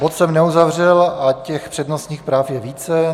Bod jsem neuzavřel a těch přednostních práv je více.